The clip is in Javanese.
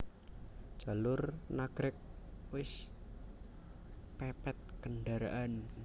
Jalur Nagreg wis pepet kendaraan